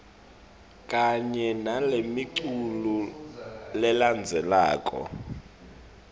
kanye nalemiculu lelandzelako